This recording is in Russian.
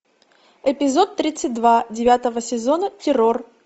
эпизод тридцать два девятого сезона террор